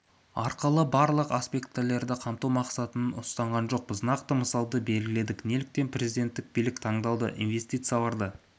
арқылы барлық аспектілерді қамту мақсатын ұстанған жоқпыз нақты мысалды белгіледік неліктен президенттік билік таңдалды инвестицияларды